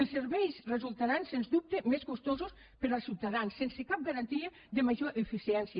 els serveis resultaran sens dubte més costosos per als ciutadans sense cap garantia de major eficiència